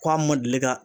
Ko a ma deli ka